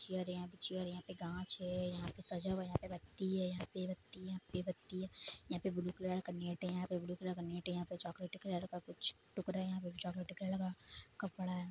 Chair है। Chair है यहाँ पे कांच है यहाँ पे सजा हुआ है बत्ती है यहाँ पे बत्ती यहाँ पे बत्ती यहाँ पे ब्लू कलर का नेट है यहाँ पे चॉकलेटी कलर का कुछ टुकडा यहाँ पे चॉकलेटी कलर का कपड़ा है।